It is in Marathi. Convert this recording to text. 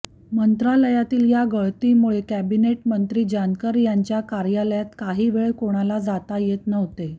मंत्रालयातील या गळतीमुळे कॅबिनेट मंत्री जानकर यांच्या कार्यालयात काही वेळ कोणाला जाता येत नव्हते